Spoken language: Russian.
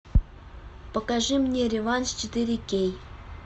покажи мне реванш четыре кей